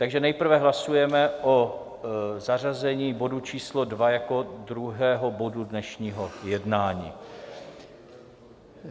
Takže nejprve hlasujeme o zařazení bodu číslo 2 jako druhého bodu dnešního jednání.